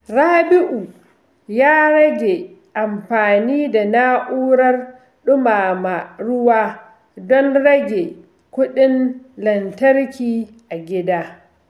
Rabi’u ya rage amfani da na’urar dumama ruwa don rage kuɗin lantarki a gida.